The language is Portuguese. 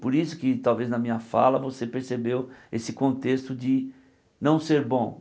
Por isso que talvez na minha fala você percebeu esse contexto de não ser bom.